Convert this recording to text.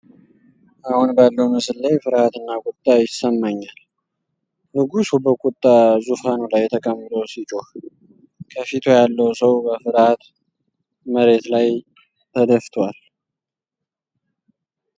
አሁን ባለው ምስል ላይ ፍርሃት እና ቁጣ ይሰማኛል። ንጉሱ በቁጣ ዙፋኑ ላይ ተቀምጦ ሲጮህ፣ ከፊቱ ያለው ሰው በፍርሃት መሬት ላይ ተደፍቷል።